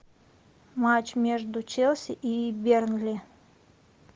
матч между челси и бернли